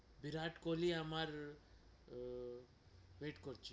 বিরাট কোহলি আমার আহ wait করছে,